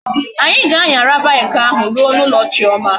Anyi ga anyara bike ahu ruo na ulo chioma